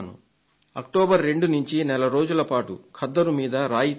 October 2 నుండి నెల రోజులపాటు ఖద్దరు మీద రాయితీ ఉంటుంది